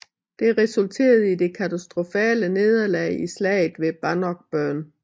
Det resulterede i det katastrofale nederlag i Slaget ved Bannockburn